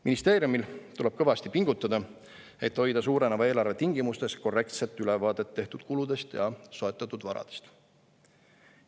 Ministeeriumil tuleb kõvasti pingutada, et hoida suureneva eelarve tingimustes korrektset ülevaadet tehtud kuludest ja soetatud varadest.